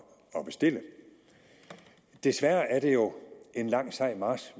at bestille desværre er det jo en lang sej march